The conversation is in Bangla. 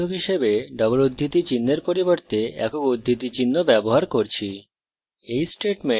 এবং আমরা বিভেদক হিসাবে double উদ্ধৃতি চিনহের পরিবর্তে একক উদ্ধৃতি চিহ্ন ব্যবহার করছি